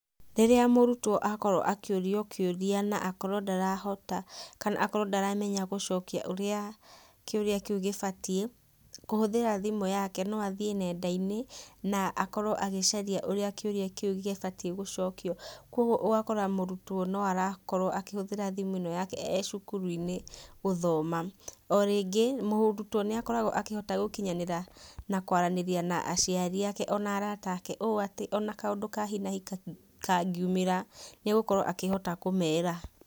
Rĩrĩa mũrutwo akorwo akĩũrio kĩũria na akorwo ndarahota, kana ndaramenya gũcokia ũrĩa kĩũria kĩu gĩbatie, kũhũthĩra thimũ yake no athiĩ nendainĩ, na akorwo agĩcaria ũrĩa kĩũria kĩu gĩbatie gũcokio. Koguo ũgakora mũrũtwo no arakorwo akĩhũthĩra thimũ ĩno yake e cukuruinĩ gũthoma. Orĩngĩ mũrutwo nĩakoragwo akĩhota gũkinyanĩra na kwaranĩria na aciari ake ona arata ake, ũũ atĩ ona kaũndũ ka hi na hi kangĩũmĩra nĩagũkorwo akĩhota kũmera.